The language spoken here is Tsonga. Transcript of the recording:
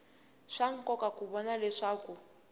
swa nkoka ku vona leswaku